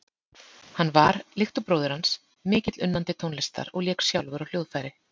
Hann var, líkt og bróðir hans, mikill unnandi tónlistar og lék sjálfur á hljóðfæri.